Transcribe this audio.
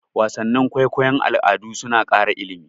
Wasannin kwaikwayon al'adu suna ƙara ilimi.